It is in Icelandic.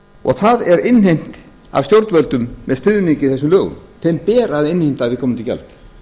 og það er innheimt af stjórnvöldum með stuðningi í þessum lögum þeim ber að innheimta viðkomandi gjald